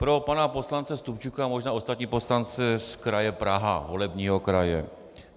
Pro pana poslance Stupčuka, možná i ostatní poslance z kraje Praha, volebního kraje.